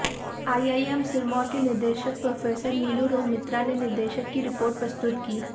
IIM Sirmaur के निदेशक professor Neelu Rohmitra ने निदेशक की रिपोर्ट प्रस्तुत की